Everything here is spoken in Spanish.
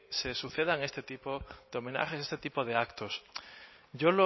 se sucedan este tipo de homenajes este tipo de actos yo